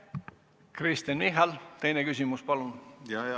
Kristen Michal, teine küsimus, palun!